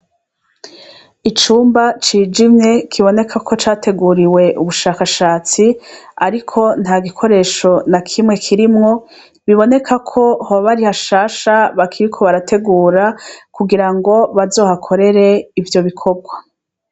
Icumba cijimye kiboneka ko categuriwe ubushakashatsi, ariko nta gikoresho na kimwe kirimwo, biboneka ko hoba ari hashasha bakiriko barategura kugirango bazohakorere ivyo bikorwa.